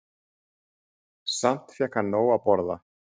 Samt fékk hann nóg að borða.